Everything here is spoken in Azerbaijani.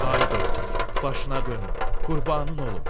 Ay doktor, başına dönüm, qurbanın olum.